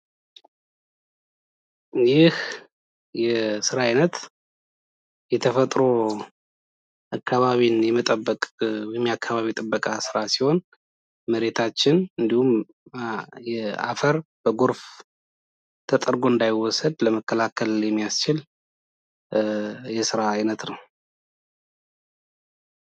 ይህ የስራ አይነት የተፈጥሮ አካባቢን የመጠበቅ ወይም የአካባቢ ጥበቃ ስራ ሲሆን መሬታችን እንዲሁም የአፈር በጎርፍ ተጠርጎ እንዳይወሰድ ለመከላከል የሚያስችል የስራ አይነት ነው ።